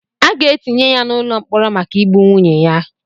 A ga-etinye ya n'ụlọ mkpọrọ maka igbu nwunye ya.